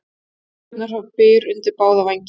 Kjaftasögurnar fá byr undir báða vængi